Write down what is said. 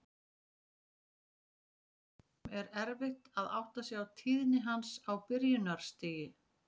Af þeim sökum er erfitt að átta sig á tíðni hans á byrjunarstigi.